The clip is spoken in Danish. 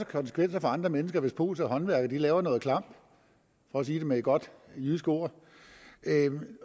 konsekvenser for andre mennesker hvis polske håndværkere laver noget klamp for at sige det med et godt jysk ord